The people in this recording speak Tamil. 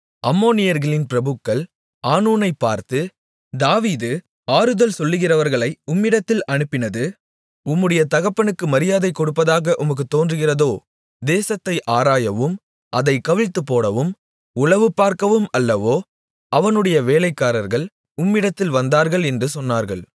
அம்மோனியர்களின் பிரபுக்கள் ஆனூனைப் பார்த்து தாவீது ஆறுதல் சொல்லுகிறவர்களை உம்மிடத்தில் அனுப்பினது உம்முடைய தகப்பனுக்கு மரியாதை கொடுப்பதாக உமக்குத் தோன்றுகிறதோ தேசத்தை ஆராயவும் அதைக் கவிழ்த்துப்போடவும் உளவுபார்க்கவும் அல்லவோ அவனுடைய வேலைக்காரர்கள் உம்மிடத்தில் வந்தார்கள் என்று சொன்னார்கள்